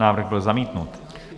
Návrh byl zamítnut.